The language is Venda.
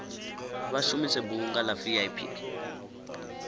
vha shumise bunga la vip